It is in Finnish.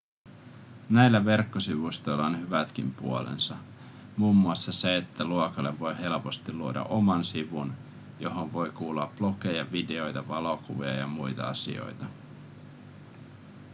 näillä verkkosivustoilla on hyvätkin puolensa muun muassa se että luokalle voi helposti luoda oman sivun johon voi kuulua blogeja videoita valokuvia ja muita asioita